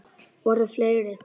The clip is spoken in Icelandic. Voru fleiri?